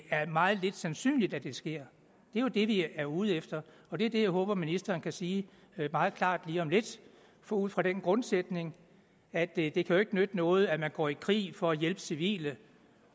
er meget lidt sandsynligt at det sker det er jo det vi er ude efter og det er det jeg håber at ministeren kan sige meget klart lige om lidt ud fra den grundsætning at det jo ikke kan nytte noget at man går i krig for at hjælpe civile